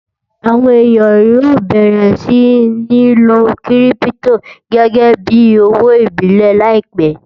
àwọn èyán yóò bẹrẹ sí ní ló kírìpitò gégé bí òwò ìbílè láìpé